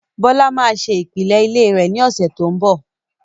Bọlá máa ṣe ìpìlẹ̀ ilé rẹ̀ ní ọ̀sẹ̀ tí ó ń bọ̀